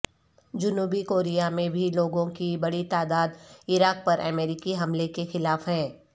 جنوبی کوریا میں بھی لوگوں کی بڑی تعداد عراق پر امریکی حملے کے خلاف ہیں